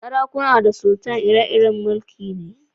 Sarakuna da sultan ire-iren mulki'n sarauta ne.